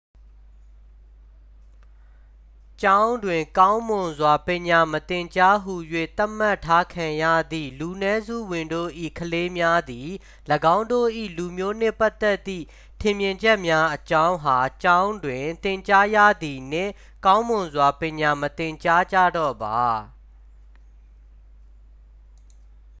"""ကျောင်းတွင် ကောင်းမွန်စွာပညာမသင်ကြားဟူ၍ သတ်မှတ်ထားခံရသည့် လူနည်းစုဝင်တို့၏ ကလေးများသည် ၎င်းတို့၏ လူမျိုးနှင့်ပတ်သက်သည့် ထင်မြင်ချက်များအကြောင်းအား ကျောင်းတွင် သင်ကြားရသည်နှင့် ကောင်းမွန်စွာ ပညာမသင်ကြားကြတော့ပါ။""